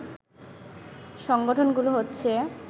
সংগঠনগুলো হচ্ছে